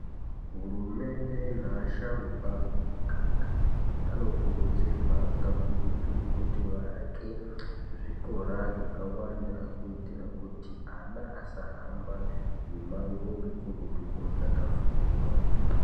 Hurumende neasharukwa emuganga anokurudzirwa kakurutu kuti vaake zvikora zvakawanda kuitira kuti ana asahamba nemangunukurutu kootsvaga fundo.